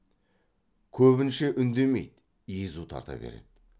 көбінше үндемей езу тарта береді